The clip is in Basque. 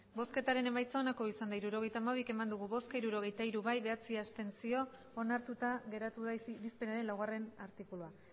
hirurogeita hamabi eman dugu bozka hirurogeita hiru bai bederatzi abstentzio onartuta geratu da irizpenaren laugarrena artikulua